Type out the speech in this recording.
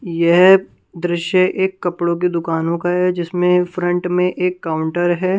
यह दृश्य एक कपड़ो की दुकानों का है जिसमें फ्रंट में एक काउंटर है।